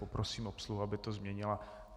Poprosím obsluhu, aby to změnila.